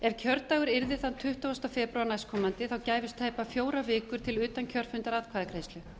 ef kjördagur yrði þann tuttugasta febrúar næstkomandi gæfust tæpar fjórar vikur til utankjörfundaratkvæðagreiðslu